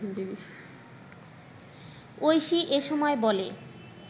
ঐশী এ সময় বলে